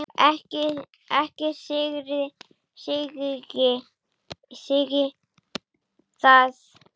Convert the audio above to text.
Ekki syrgi ég það.